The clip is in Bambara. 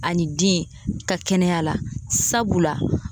Ani den ka kɛnɛya la. Sabula